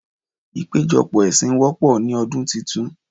Ìpéjọpọ̀ ẹ̀sìn wọ́pọ̀ ní ọdún titun.